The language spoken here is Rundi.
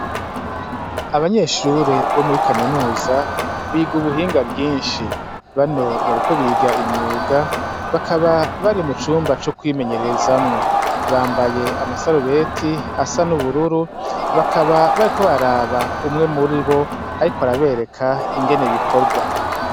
Abanyeshure bo muri kaminuza biga ubuhinga bwinshi bano bariko biga imyuga bakaba bari mu cumba co kwimenyererezamwo bambaye amasarubeti asa n'ubururu bakaba bariko baraba umwe muri bo, ariko arabereka ingene bikorwa.